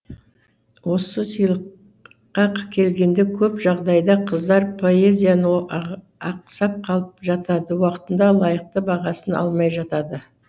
осы сыйлыққа келгенде көп жағдайда қыздар поэзияны ақсап қалып жатады уақытында лайықты бағасын алмай жатады